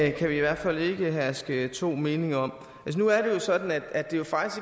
i hvert fald ikke herske to meninger om nu er det jo sådan at det faktisk